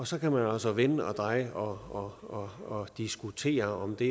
så kan man altså vende og dreje og diskutere om det